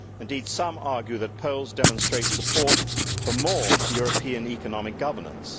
Indeed, some argue that polls demonstrate support for more European economic governance.